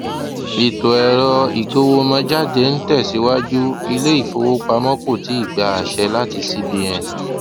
ìtò ẹrọ ìgowomójáde n tẹsiwaju iléifówopámọ kò tíì gbà àṣẹ láti cbn